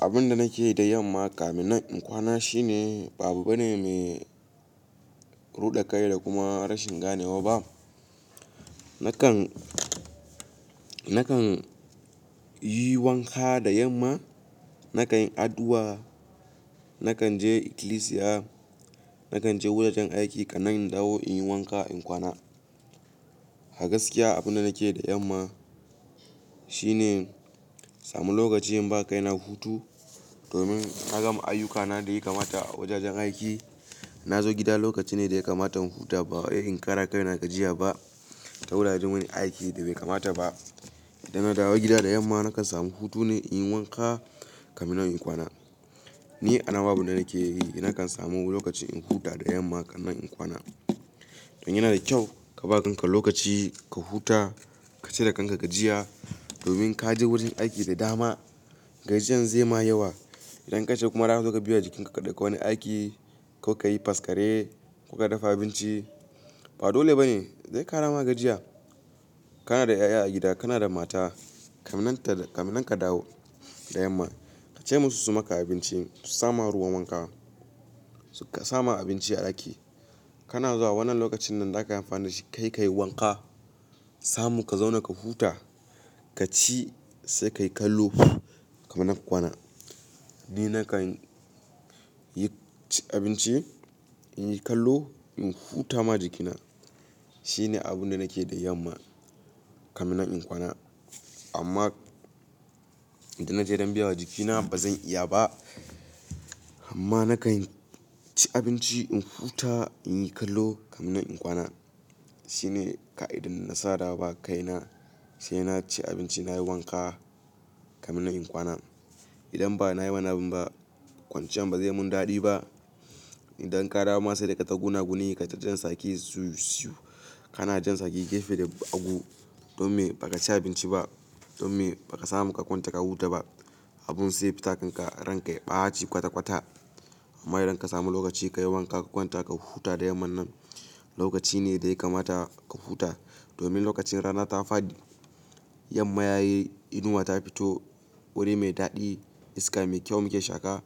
Abin da nake da yamma kamin in nan kwana shine babu bane mai ruɗe kai da kuma rashin ganewa ba. Nakan, nakan yi wanka da yamma, nakan yi addu'a, nakan je ikilisiya, nakan je wajajen aiki, ka nan in dawo in yi wanka in kwana. A gaskiya abin da nake da yamma shine samu lokaci in ba kai na hutu domin na gama ayyukana da ya kamata a wajajen aiki. Na zo gida lokaci ne da ya kamata in huta ba wai in ƙara kai na gajiya ba, ta wuraren wani aiki da bai kamata ba. Idan na dawo gida da yamma nakan samu hutu ne in yi wanka kamin nan in yikwana. Ni a nawa abunda nake yi idan nakan samu lokaci in huta da yamma kan nan in kwana. Don yana da kyau ka ba kanka lokaci ka huta, ka cire kanka gajiya domin ka je wurin aiki da dama. Gajiyan zai ma yawa. Idan ka ce kuma rana zaka biya jikinka da wani aiki, kuka yi faskare, ko ka dafa abinci. Ba dole ba ne zai ƙara ma gajiya. Kana da 'ya'ya a gida, kana da mata kamin nan ka dawo da yamma. Ka ce musu su maka abinci, su sama ruwa wanka, suka sama abinci a ɗaki. Kana zuwa wannan lokacin nan zaka amfana da shi kai, ka yi wanka, samu ka zauna ka huta, ka ci sai kai kallo kamin nan ka kwana. Ni nakan yi abinci, in yi kallo, in huta ma jikina. Shine abun da nake da yamma kamin nan in kwana. Amma idan na je don biya wa jikina ba zan iya ba. Amma na kan ci abinci, in huta, in yi kallo kamin nan in kwana. Shine ka idin na saka da ba kai na shine na ci abinci nayi wanka kamin nan in kwana. Idan ba na yi wannan abin ba kwanciyan ba zai mun daɗi ba. Idan ka dawo masu daga ta guna guni kaza jan saki siwu siwu. Kana jan saki gefe da hagu don me ba ka ci abinci ba, don me ba ka samu ka kwanta ka huta ba. Abun sai ya fita kanka ranka ya ɓaci kwata kwata. Amma idan ka samu lokaci ka yi wanka ka kwanta ka huta da yamma nan lokaci ne da ya kamata ka huta domin lokacin rana ta faɗi. Yamma yayi inuwa ta fito, wuri mai daɗi, iska mai kyau muke shaka.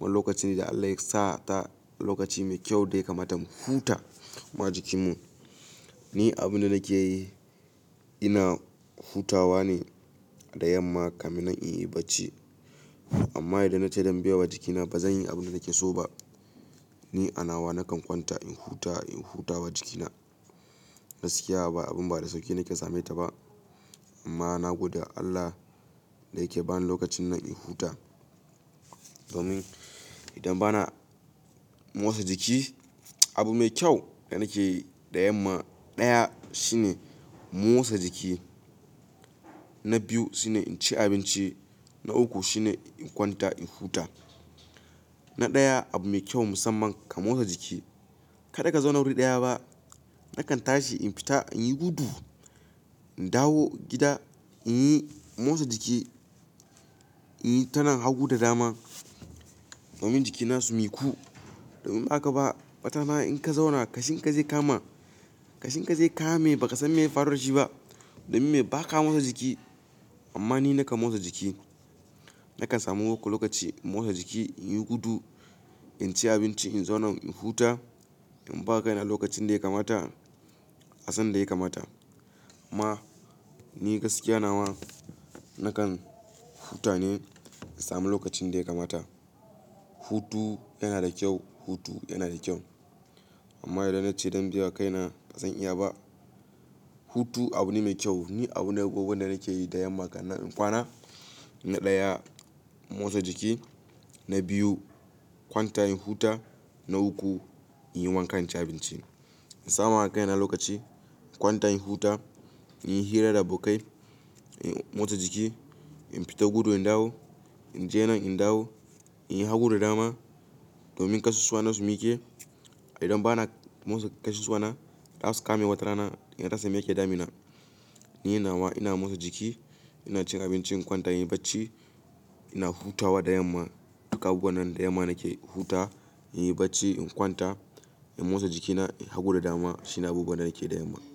Wannan lokaci ne da Allah ya sa ta lokaci mai kyau da ya kamata mu huta ma jikinmu. Ni abin da nake yi ina hutawa ne da yamma kamin nan in yi bacci. Amma idan na ce don biya wa jikina ba zan yi abin da nake so ba. Ni a na wa nakan kwanta in huta, in huta wa jikina. Gaskiya ba abin ba da sauƙi nake same ta ba amma na gode wa Allah da yake bani lokacin nan in huta. Domin idan ba na motsa jiki abu mai kyau da nake yi da yamma ɗaya shine motsa jiki, na biyu shine in ci abinci, na uku shine in kwanta in huta. Na ɗaya abu mai kyau musamman ka motsa jiki. Kada ka zauna wurii ɗaya ba. Nakan tashi in fita, in yi gudu, in dawo gida, in yi motsa jiki, in yi ta nan hagu da dama domin jikina su miƙu. Domin baka ba wata rana in ka zauna ƙashin ka zai kama. Ƙashin ka zai kama mai ba ka san me faruwar shi ba domin me ba ka motsa jiki. Amma ni nakan motsa jiki. Nakan samu wako lokaci in motsa jiki, in yi gudu, in ci abinci, in zauna in huta, in ba kai na lokacin da ya kamata a san da ya kamata. Ma ni gaskiya na wa nakan huta ne in sami lokacin da ya kamata. Hutu yana da kyau, hutu yana da kyau amma idan na ce don biya kai na ba zan iya ba. Hutu abu ne mai kyau. Ni abu na goggo da nake yi da yamma kan nan in kwana. Na ɗaya motsa jiki, na biyu kwanta in huta, na uku in yi wanka in ci abinci. In sama ma kaina lokaci in kwanta in huta, in yi hira da abokai, in motsa jiki, in fita gudu in dawo, in je nan in dawo, in yi hagu da dama domin ƙasusuwana su miƙe. Idan ba na motsa ƙasusuwana za su kame wata rana in rasa me yake damina. Ni na wa ina motsa jiki, ina cin abinci, in kwanta in yi bacci, ina hutawa da yamma. Duk abubuwan nan da yamma nake huta, in yi bacci, in kwanta, in motsa jikina hagu da dama shine abubuwan da nake da yamma.